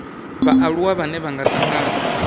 vhaaluwa vhane vha nga tangana